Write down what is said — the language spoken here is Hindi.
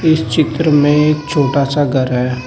पीछे की तरफ में एक छोटा सा घर है।